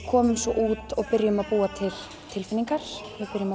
komum svo út byrjum að búa til tilfinningar